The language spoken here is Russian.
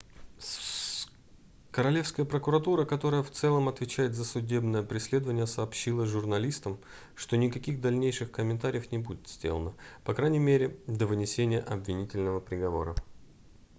королевская прокуратура которая в целом отвечает за судебное преследование сообщила журналистам что никаких дальнейших комментариев не будет сделано по крайней мере до вынесения обвинительного приговора